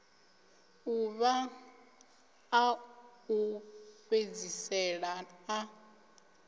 ḓuvha ḽa u fhedzisela ḽa